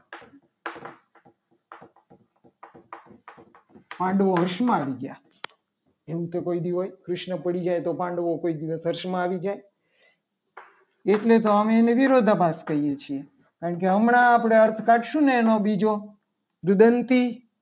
પાંડવો હર્ષમાં આવી ગયા. એવું તો કોઈ દિવસ હોય કૃષ્ણ પડી જાય તો પાંડવો કોઈ દિવસ હર્ષમાં આવી જાય. એટલે તો આજે અમે વિરોધાભાસ કહીએ છીએ. કારણ કે હમણાં આપણે અર્થ કાઢશું. ને એનો બીજો દુદંતી